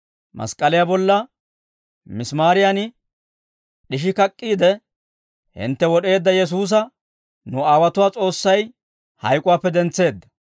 Mask'k'aliyaa bolla misimaariyan d'ishi kak'k'iide, hintte wod'eedda Yesuusa nu aawotuwaa S'oossay hayk'uwaappe dentseedda;